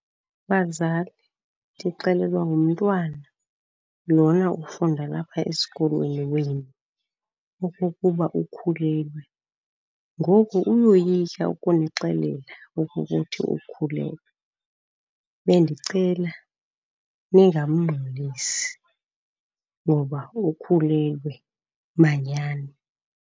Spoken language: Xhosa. Bazali, ndixelelwa ngumntwana lona ufunda lapha esikolweni wenu okokuba ukhulelwe, ngoku uyoyika ukunixelela okokuthi ukhulelwe. Bendicela ningamngxolisi ngoba ukhulelwe manyani.